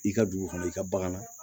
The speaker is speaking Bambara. I ka dugu kɔnɔ i ka bagan na